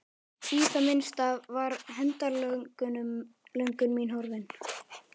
Í það minnsta var hefndarlöngun mín horfin.